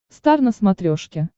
стар на смотрешке